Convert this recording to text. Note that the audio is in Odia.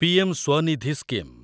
PM Svanidhi scheme